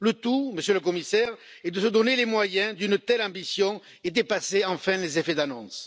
Le tout, Monsieur le Commissaire, est de se donner les moyens d'une telle ambition et de dépasser enfin les effets d'annonce.